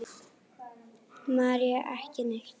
María: Ekki neitt.